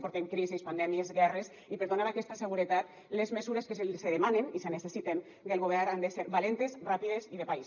portem crisis pandèmies guerres i per donar aquesta seguretat les mesures que se demanen i se necessiten del govern han de ser valentes ràpides i de país